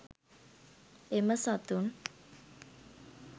එම සතුන්